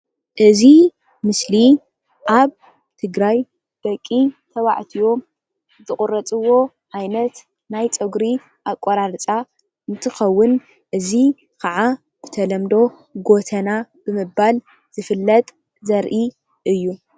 እዚ ምስሊ ኣብ ትግራይ ደቂ ተባዕትዮ ዝቁረፅዎ ዓይነት ናይ ፀጉሪ ኣቆራርፃ እንትኸውን እዚ ከዓ ብተለምዶ ጉተና ብምባል ዝፍለጥ ዘርኢ እዩ፡፡